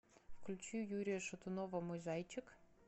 включи юрия шатунова мой зайчик